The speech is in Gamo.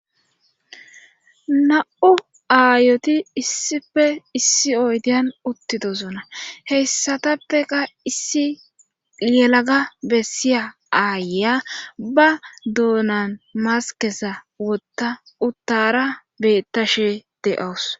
Na'u aayoti issife issi oydiyan uttidosuna heyssatappeka issi yelaga bessiya aayeya ba dounan maskesa wotta uttara bettashe de7oos